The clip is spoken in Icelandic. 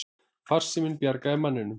Farsíminn bjargaði manninum